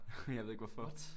Jeg ved ikke hvorfor